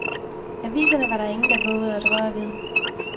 Aviserne var der ingen, der vovede at røre ved.